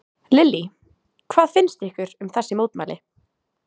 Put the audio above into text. Lillý: Hvað finnst ykkur um þessi mótmæli?